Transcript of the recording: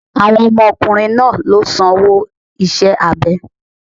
Àwọn ọmọ ọkùnrin náà ló sanwó iṣẹ́ abẹ ẹ̀.